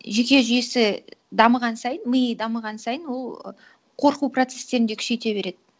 жүйке жүйесі дамыған сайын миы дамыған сайын ол қорқу процесстерін де күшейте береді